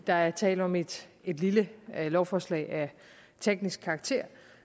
der er tale om et lille lovforslag af teknisk karakter